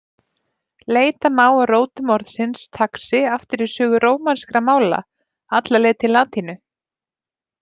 Leita má að rótum orðsins taxi aftur í sögu rómanskra mála, alla leið til latínu.